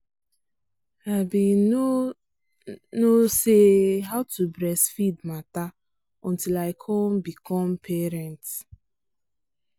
i been no no say how to breastfeed matter until i come become parent.